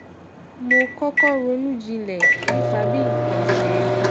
mo kókó ronú jinlè nípa bí nǹkan ṣe